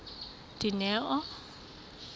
dineo